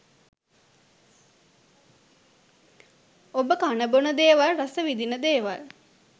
ඔබ කන බොන දේවල් රස විඳින දේවල්